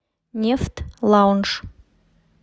нефт лаунж